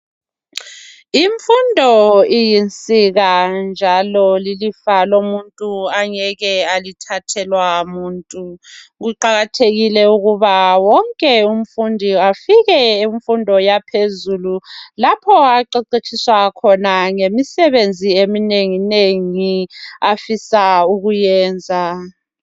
Imfundo iyinsika njalo lilifa lomuntu angeke alithathelwa ngumuntu. Kuqakathekile ukuba wonke umfundi afike kumfundo yaphezulu lapho aqeqetshiswa khona ngemisebenzi eminenginengi afisa ukuyenza.